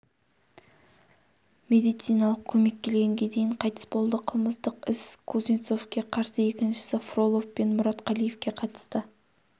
медициналық көмек келгенге дейін қайтыс болды қылмыстық іс кузнецовке қарсы екіншісі фролов пен мұратқалиевке қатысты